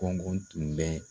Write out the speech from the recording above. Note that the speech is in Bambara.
Kɔngɔn tun bɛ